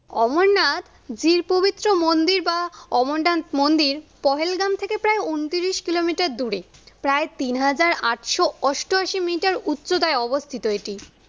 অমরনাথ যেই পবিত্র মন্দির বা অমরনাথ মন্দির পহেলগ্রাম থেকে প্রায়ঊনত্রিশ কিলোমিটার দূরে। প্রায় তিন হাজার আটশ অষ্টআশি মিটার উচ্চতায় অবস্থিত এটি।